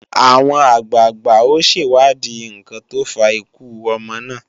Àwọn àgbàgbà ó ṣèwádìí ǹkan tó fa ikú ọmọ náà